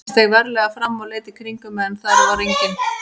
Ég steig varlega fram og leit í kringum mig en þar var enginn.